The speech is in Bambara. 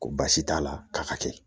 Ko baasi t'a la k'a ka kɛ